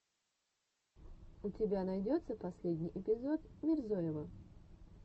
у тебя найдется последний эпизод мирзоева